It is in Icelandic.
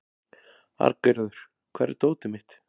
Arngerður, hvar er dótið mitt?